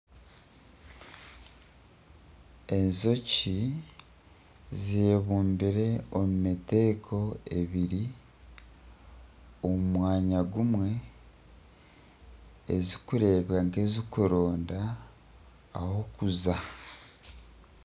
Enjoki zebumbire omu miteeko ebiri omu mwanya gumwe ezikurebeka nka ezikuronda ah'okuza.